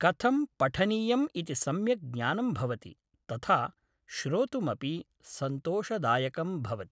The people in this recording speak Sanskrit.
कथं पठनीयम् इति सम्यक् ज्ञानं भवति तथा श्रोतुमपि सन्तोषदायकं भवति